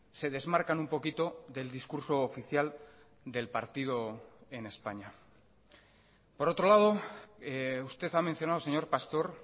se desmarcan un poquito del discurso oficial del partido en españa por otro lado usted ha mencionado señor pastor